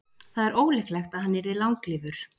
það er ólíklegt að hann yrði langlífur